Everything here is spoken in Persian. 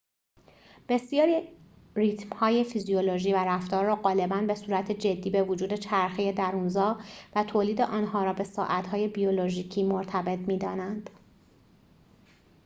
بسیاری ریتم‌های فیزیولوژی و رفتار را غالباً به صورت جدی به وجود چرخه درون‌زا و تولید آن‌ها را به ساعت‌های بیولوژیکی مرتبط می‌دانند